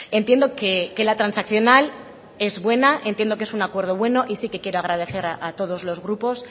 entiendo que la transaccional es buena entiendo que es un acuerdo bueno y sí que quiero agradecer a todos los grupos